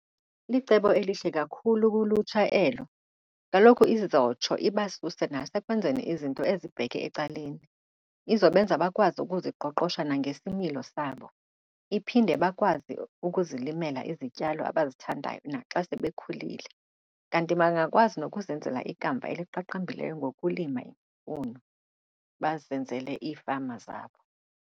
Licebo elihle kakhulu kulutsha elo. Kaloku izotsho ibasuse nasekwenzeni izinto ezibheke ecaleni. Izobenza bakwazi ukuziqoqosha nangesimilo sabo, iphinde bakwazi ukuzilimela izityalo abazithandayo naxa sebekhulile. Kanti bangakwazi nokuzenzela ikamva eliqaqambileyo ngokulima imfuno bazenzele iifama zabo.